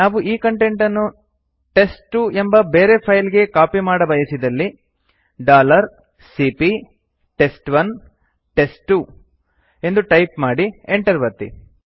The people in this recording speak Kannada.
ನಾವು ಈ ಕಂಟೆಂಟ್ ಅನ್ನು ಟೆಸ್ಟ್2 ಎಂಬ ಬೇರೆ ಫೈಲ್ ಗೆ ಕಾಪಿ ಮಾಡಬಯಸಿದಲ್ಲಿ ಸಿಪಿಯ ಟೆಸ್ಟ್1 ಟೆಸ್ಟ್2 ಎಂದು ಟೈಪ್ ಮಾಡಿ enter ಒತ್ತಿ